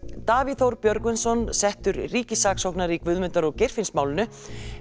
Davíð Þór Björgvinsson settur ríkssaksóknari í Guðmundar og Geirfinnsmálinu